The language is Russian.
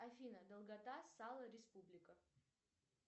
афина долгота сало республика